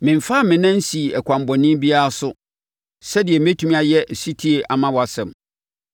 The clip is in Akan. Memfaa me nan nsii ɛkwan bɔne biara so sɛdeɛ mɛtumi ayɛ ɔsetie ama wʼasɛm.